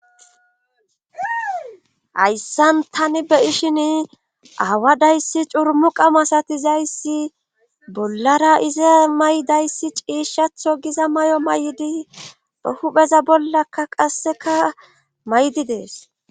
hayssan tani be'ishin awadayssi curmu qamasatizayssi bollara iza maydayssi ciishshatho giza may7o may7di be hupheza bollakka qasseka may7di dees